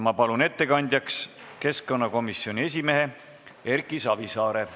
Ma palun ettekandjaks keskkonnakomisjoni esimehe Erki Savisaare.